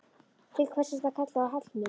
Til hvers ertu að kalla á Hallmund?